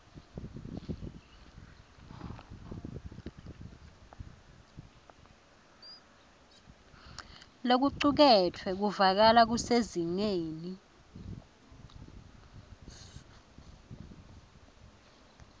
lokucuketfwe kuvakala kusezingeni